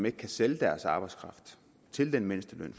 ikke kan sælge deres arbejdskraft til den mindsteløn